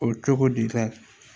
O ye cogo dita